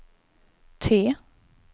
T